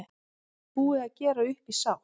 Búið að gera upp í sátt